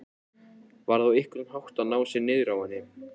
Varð á einhvern hátt að ná sér niðri á henni.